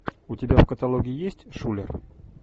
у тебя в каталоге есть шулер